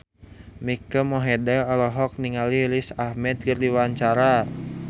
Mike Mohede olohok ningali Riz Ahmed keur diwawancara